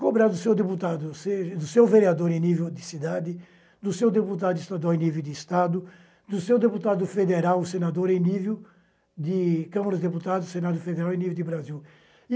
Cobrar do seu deputado, seja do seu vereador em nível de cidade, do seu deputado estadual em nível de estado, do seu deputado federal senador em nível de Câmara de Deputados, Senado Federal em nível de Brasil.